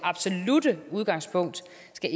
skal